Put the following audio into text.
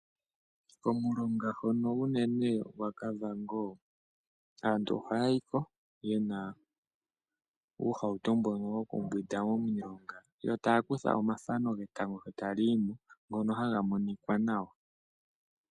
Komulonga hono unene gwaKavango aantu ohaya yi ko ye li muumbautu mbono hawu hingwa momulonga, yo taya kutha omathano getango sho tali yi mo, ngono haga monika nawa.